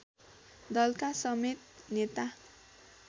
दलका समेत नेता